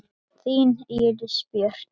Þín Íris Björk.